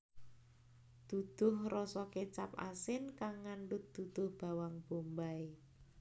Duduh rasa kecap asin kang ngandhut duduh bawang bombay